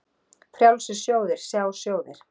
Frjálsir sjóðir, sjá sjóðir